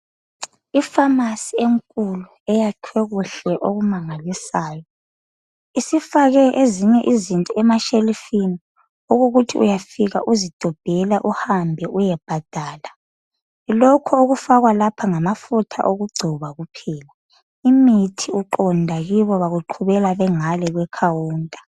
Ifamasi enkulu eyakhiwe kuhle okumangalisayo isifake ezinye izinto emashelufini okukuthi uyafika uzidobhela uhambe uyebhada okufakwa lapha ngamafutha okugcoba kuphela. Imithi uqonda Kubo bakuqhubela bengale kwe khawunta.